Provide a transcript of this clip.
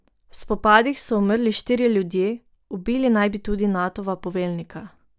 V spopadih so umrli štirje ljudje, ubili naj bi tudi Natova poveljnika.